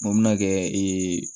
N ko mi na kɛ ee